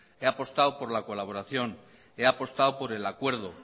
he apostado por la colaboración he apostado por el acuerdo